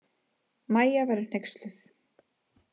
Mæja verður hneyksluð.